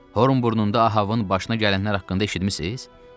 Bəs Horn burnunda Ahavın başına gələnlər haqqında eşitmisiz?